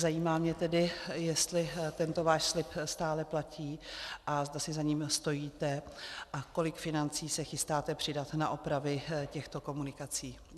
Zajímá mě tedy, jestli tento váš slib stále platí a zda si ním stojíte a kolik financí se chystáte přidat na opravy těchto komunikací.